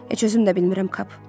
Heç özüm də bilmirəm Kap.